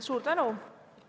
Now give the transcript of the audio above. Suur tänu!